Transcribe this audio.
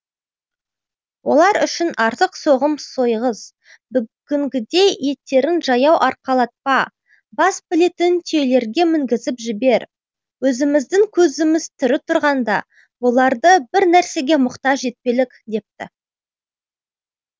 олар үшін артық соғым сойғыз бүгінгідей еттерін жаяу арқалатпа бас білетін түйелерге мінгізіп жібер өзіміздің көзіміз тірі тұрғанда бұларды бір нәрсеге мұқтаж етпелік депті